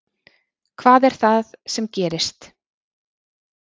Hvað er það sem gerist?